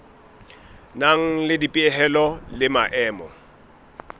nang le dipehelo le maemo